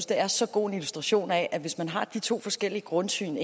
det er så god en illustration af at hvis man har de to forskellige grundsyn